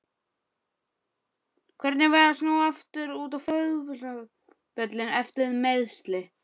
Hvernig var að snúa aftur út á fótboltavöllinn eftir meiðsli?